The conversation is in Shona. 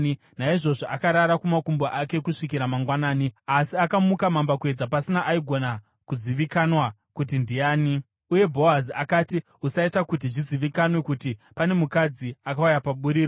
Naizvozvo akarara kumakumbo ake kusvikira mangwanani, asi akamuka mambakwedza pasina aigona kuzivikanwa kuti ndiani; uye Bhoazi akati, “Usaita kuti zvizivikanwe kuti pane mukadzi akauya paburiro.”